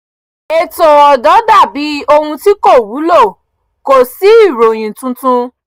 ètò ọ̀dọ́ dà bí ohun tí kò wúlò kò sí ìròyìn tuntun